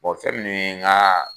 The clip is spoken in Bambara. Ɔ fɛn minnu ye ngaa